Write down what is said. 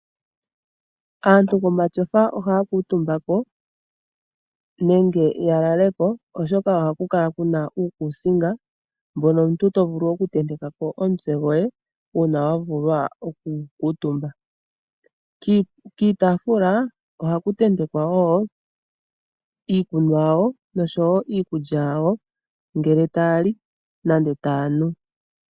Aantu momatyofa ohaakutumba ko nenge yalaleko uuna yaloloka oshoka ohaga kala gena okakuusinga kokutendeka omutse, kiitaafula ohaku tentekwa woo iikunwa yawo nosho woo iikulya yawo ngele taali nenge taa nu.